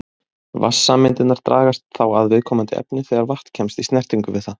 Vatnssameindirnar dragast þá að viðkomandi efni þegar vatn kemst í snertingu við það.